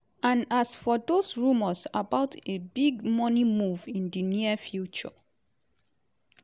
and as for dos rumours about a big money move in di near future?